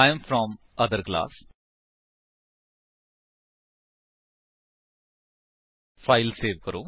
I am from other class file save ਕਰੋ